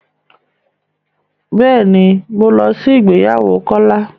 Bẹ́ẹ̀ ni, mò ń lọ sí ìgbéyàwó Kólá.